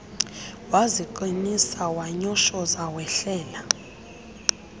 waziqinisa wanyoshoza wehlela